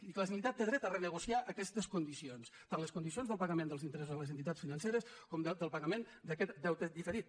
i que la generalitat té dret a renegociar aquestes condicions tant les condicions del pagament dels interessos a les entitats financeres com del pagament d’aquest deute diferit